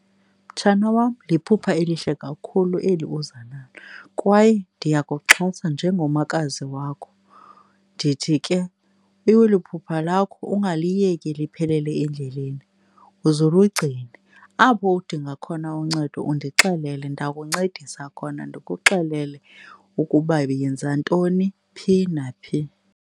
Mtshana wam, liphupha elihle kakhulu eli uza nalo kwaye ndiyakuxhasa njengomakazi wakho. Ndithi ke phupha lakho ungaliyeki liphelele endleleni, uze ulugcine. Apho udinga khona uncedo undixelele, ndakuncedisa khona ndikuxelele ukuba yenza ntoni phi naphi.